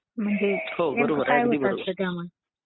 हो बरोबर आहे अगदी बरोबर आहे.